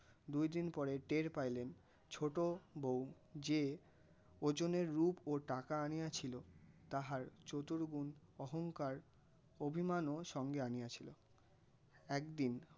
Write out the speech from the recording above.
দুই দিন পড়ে টের পাইলেন ছোটো বউ যে ওজনে রূপ ও টাকা আনিয়াছিল তাহার চতুর্গুণ অহঙ্কার অভিমানও সঙ্গে আনিয়াছিল. একদিন